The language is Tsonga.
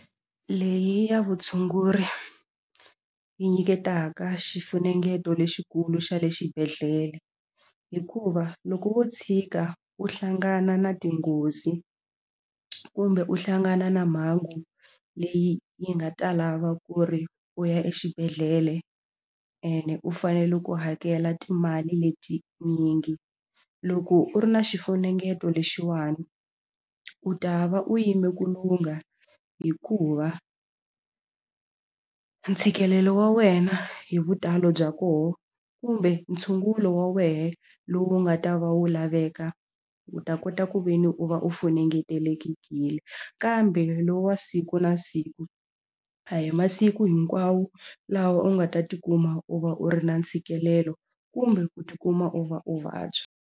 Leyi ya vutshunguri yi nyiketaka xifunengeto lexikulu xa le xibedhlele hikuva loko wo tshika u hlangana na tinghozi kumbe u hlangana na mhangu leyi yi nga ta lava ku ri u ya exibedhlele ene u fanele ku hakela timali letinyingi loko u ri na xifunengeto lexiwani u ta va u yime ku lungha hikuva ntshikelelo wa wena hi vutalo bya kona kumbe ntshungulo wa wena lowu nga ta va wu laveka u ta kota ku ve ni u va u funengetekile kambe lowu wa siku na siku a hi masiku hinkwawo laha u nga ta ti kuma u va u ri na ntshikelelo kumbe ku ti kuma u va u vabya.